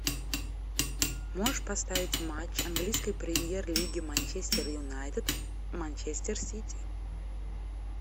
можешь поставить матч английской премьер лиги манчестер юнайтед манчестер сити